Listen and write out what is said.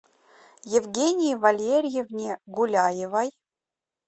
евгении валерьевне гуляевой